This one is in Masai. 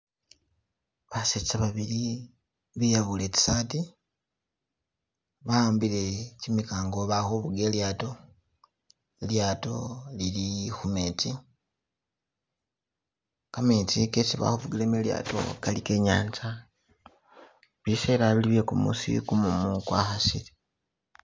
Basetsa babili beyabule tsi sati wa'ambile kimikango balikhufuga ilyato, ilyato lili khumetsi, kametsi kesi balikhufugilamo ilyato kali kenyanza, bisela bili bye kumusi kumumu kwa khasili.